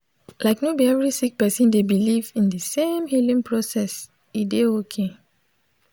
like no bi every sik person dey biliv in di sem healing process e dey okay